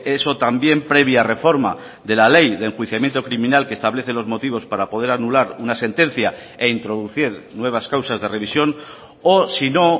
eso también previa reforma de la ley de enjuiciamiento criminal que establece los motivos para poder anular una sentencia e introducir nuevas causas de revisión o si no